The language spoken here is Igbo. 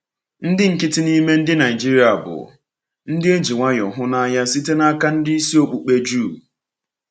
Ndị nkịtị n’ime ndị Naịjirịa bụ ndị e ji nwayọọ hụ n’anya site n’aka ndị isi okpukpe Juu.